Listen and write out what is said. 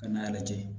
Ka n'a lajɛ